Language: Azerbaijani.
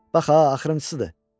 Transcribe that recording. Bax ha, axırıncısır.